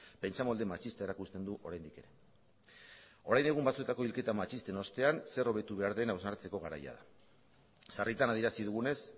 pentsamolde matxista erakusten du oraindik ere orain egun batzuetako hilketa matxisten ostean zer hobetu behar den hausnartzeko garaia da sarritan adierazi dugunez